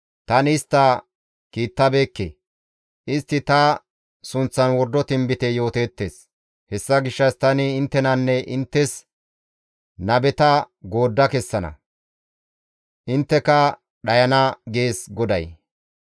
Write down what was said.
‹Tani istta kiittabeekke; istti ta sunththan wordo tinbite yooteettes; hessa gishshas tani inttenanne inttes nabeta goodda kessana; intteka dhayana› gees GODAY.»